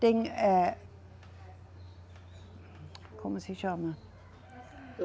Tem, é, como se chama?